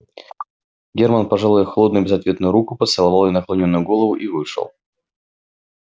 германн пожал её холодную безответную руку поцеловал её наклонённую голову и вышел